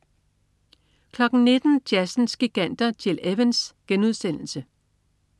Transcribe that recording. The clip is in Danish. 19.00 Jazzens giganter. Gil Evans*